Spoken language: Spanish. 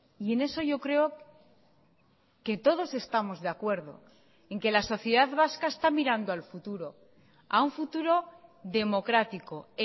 y en eso yo creo que todos estamos de acuerdo en que la sociedad vasca está mirando al futuro a un futuro democrático